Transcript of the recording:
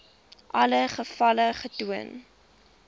alle gevalle getoon